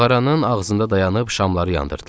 Mağaranın ağzında dayanıb şamları yandırdılar.